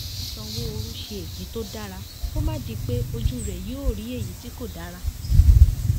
kí sanwóoru ṣe èyí tó dára kó má di pé ojú rẹ yóò rí èyí tí kò dára